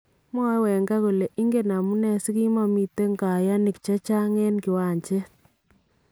Mwae Wenger kole ingen amunee sikimamiten kayaanik chechang en kiwancheet